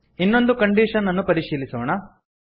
ಇನ್ನೊಂದು ಕಂಡೀಶನ್ ಅನ್ನು ಪರಿಶೀಲಿಸೋಣ